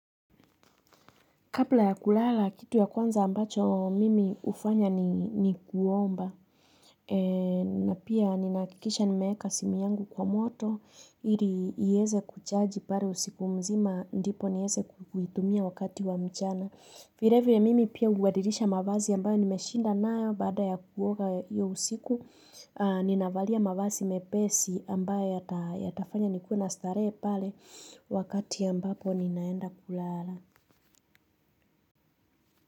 Kabla ya kulala, kitu ya kwanza ambacho mimi hufanya ni kuomba. Na pia ninahakikisha nimeeka simu yangu kwa moto, iliweze kuchaji pake usiku mzima, ndipo niweze kuitumia wakati wa mchana. Vile vile mimi pia hubadilisha mavazi ambayo nimeshinda nayo baada ya kuoga hio usiku, ninavalia mavazi mepesi ambayo yatafanya nikue na starehe pale wakati ambapo ninaenda kulala.